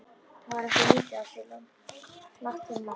Það var ekki lítið á sig lagt fyrir mann.